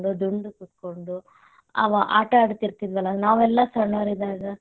ದುಂಡು ಕೂತ್ಕೊಂಡು ಅವಾಗ್ ಆಟಡತಿರತಿದ್ವಲ, ನಾವೆಲ್ಲಾ ಸಣ್ಣೊರಿದ್ದಾಗ.